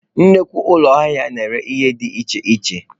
Nnukwu ụlọ ahịa na-ere ihe dị iche iche.